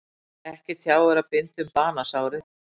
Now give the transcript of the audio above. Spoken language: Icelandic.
Ekki tjáir að binda um banasárið.